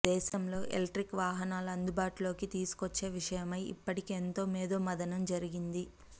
దేశంలో ఎలక్ట్రిక్ వాహనాలను అందుబాటులోకి తీసుకొచ్చే విషయమై ఇప్పటికే ఎంతో మేధోమధనం జరిగింది